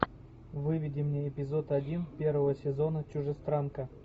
выведи мне эпизод один первого сезона чужестранка